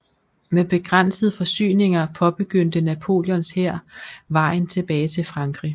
Med begrænsede forsyninger påbegyndte Napoleons hær vejen tilbage til Frankrig